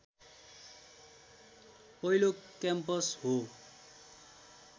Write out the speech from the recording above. पहिलो क्याम्पस हो